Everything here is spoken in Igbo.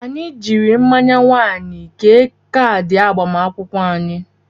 Anyị jiiri mmanya wain kee kaadị agbamakwụkwọ anyị.